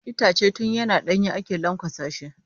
Itace tun yana ɗanye ake lanƙwasa shi.